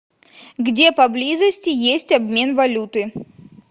где поблизости есть обмен валюты